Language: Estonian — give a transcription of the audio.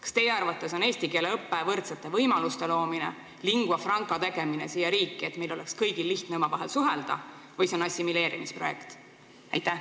Kas teie arvates on eesti keele õpe võrdsete võimaluste loomine, lingua franca tegemine siia riiki, et meil oleks kõigil lihtne omavahel suhelda, või see on assimileerimisprojekt?